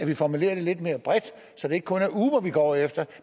det formuleret lidt mere bredt så det ikke kun er uber vi går efter